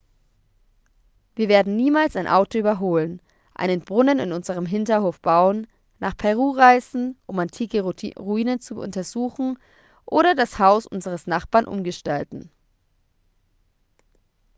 wir werden niemals ein auto überholen einen brunnen in unserem hinterhof bauen nach peru reisen um antike ruinen zu untersuchen oder das haus unseres nachbarn umgestalten